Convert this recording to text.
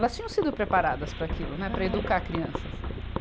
Elas tinham sido preparadas para aquilo, né, para educar crianças.